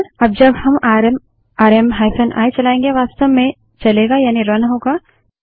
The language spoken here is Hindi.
अब जब हम आरएम आरएम i चलायेंगे वास्तव में चलेगा यानि रन होगा